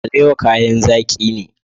Alewa kayan zaki ne.